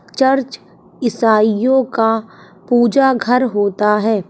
Church ईसाइयों का पूजा घर होता है।